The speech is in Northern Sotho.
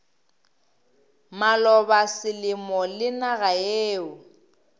maloba selemo le naga yeo